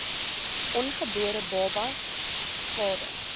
ongebore babas skade